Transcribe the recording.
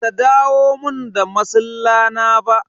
Ba ta dawo mun da masilla na ba.